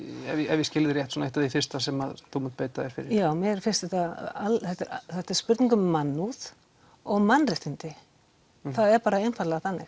ef ég skil þig rétt eitt af því fyrsta sem að þú mun beita þér fyrir já mér finnst þetta vera spurning um mannúð og mannréttindi það er bara einfaldlega þannig